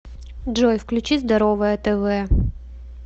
джой включи здоровое тв